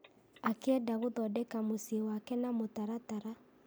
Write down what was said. akĩenda gũthondeka mũciĩ wake na mũtaratara.